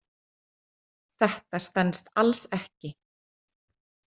Þetta stenst alls ekki.